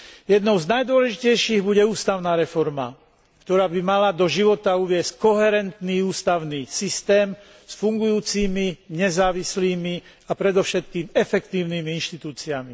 Jednou z najdôležitejších bude ústavná reforma, ktorá by mala do života uviesť koherentný ústavný systém s fungujúcimi, nezávislými a predovšetkým efektívnymi inštitúciami.